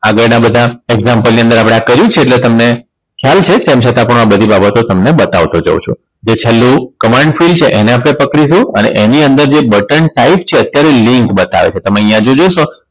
આગળના બધા Example ની અંદર આપણે આ કર્યું જ છે એટલે તમને Shoal છે તેમ પછી પણ આ બધી બાબતો તમને બતાવતો જાવ છું જે છેલ્લું command field છે એને આપણે પકડીશું અને એની અંદર જે બટન સાઈડ છે અત્યારે link બતાવે છે તમે અહીંયા જોશો